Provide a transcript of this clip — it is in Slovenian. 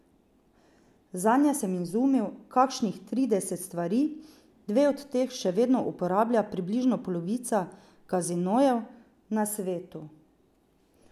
Zanje sem izumil kakšnih trideset stvari, dve od teh še vedno uporablja približno polovica kazinojev na svetu.